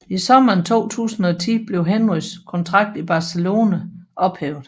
I sommeren 2010 blev Henrys kontrakt i Barcelona ophævet